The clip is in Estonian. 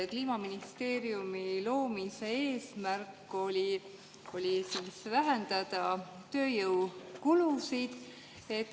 Kliimaministeeriumi loomise eesmärk oli vähendada tööjõukulusid.